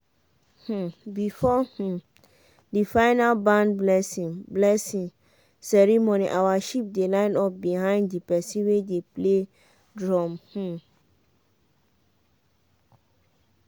um before um the final barn blessing blessing ceremony our sheep dey line up behind the person wey dey play drum. um